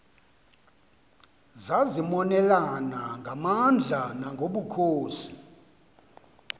zazimonelana ngamandla nangobukhosi